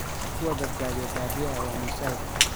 Kuwa badbaaday badiyaa waa mosaic.